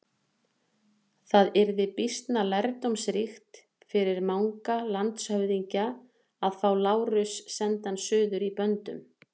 Það yrði býsna lærdómsríkt fyrir Manga landshöfðingja að fá Lárus sendan suður í böndum.